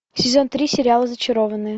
сезон три сериала зачарованные